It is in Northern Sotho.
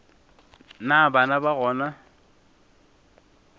na bana ga go na